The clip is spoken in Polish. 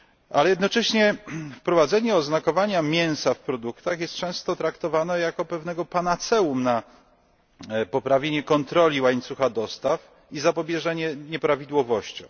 Ale jednocześnie wprowadzenie oznakowania mięsa w produktach jest często traktowane jako pewne panaceum na poprawienie kontroli łańcucha dostaw i zapobieżenie nieprawidłowościom.